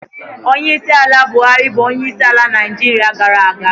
Onyeisiala Buhari bụ onyeisiala Naịjirịa gara aga.